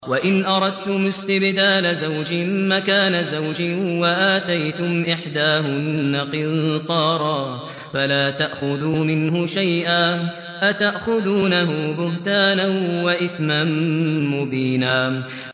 وَإِنْ أَرَدتُّمُ اسْتِبْدَالَ زَوْجٍ مَّكَانَ زَوْجٍ وَآتَيْتُمْ إِحْدَاهُنَّ قِنطَارًا فَلَا تَأْخُذُوا مِنْهُ شَيْئًا ۚ أَتَأْخُذُونَهُ بُهْتَانًا وَإِثْمًا مُّبِينًا